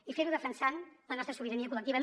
i fer ho defensant la nostra sobirania col·lectiva